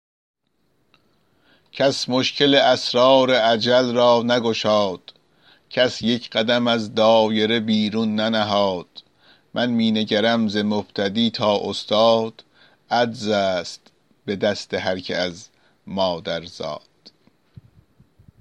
کس مشکل اسرار اجل را نگشاد کس یک قدم از دایره بیرون ننهاد من می نگرم ز مبتدی تا استاد عجز است به دست هرکه از مادر زاد